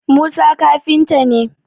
Musa kafinta ne